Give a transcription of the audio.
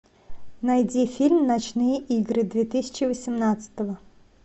найди фильм ночные игры две тысячи восемнадцатого